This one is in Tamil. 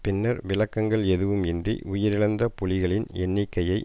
பின்னர் விளக்கங்கள் எதுவும் இன்றி உயிரழந்த புலிகளின் எண்ணிக்கையை